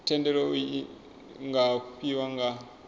thendelo iu nga fhiwa nga